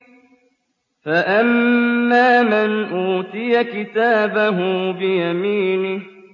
فَأَمَّا مَنْ أُوتِيَ كِتَابَهُ بِيَمِينِهِ